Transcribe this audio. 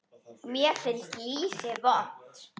Mér finnst lýsi vont